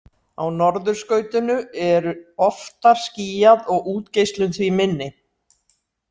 Á norðurskautinu er oftar skýjað og útgeislun því minni.